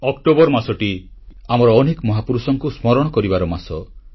ଏହି ଅକ୍ଟୋବର ମାସଟି ଆମର ଅନେକ ମହାପୁରୁଷଙ୍କୁ ସ୍ମରଣ କରିବାର ମାସ